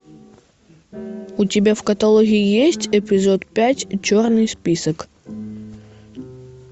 у тебя в каталоге есть эпизод пять черный список